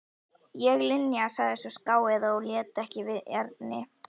Ég Linja sagði sú skáeygða og leit ekki við Erni.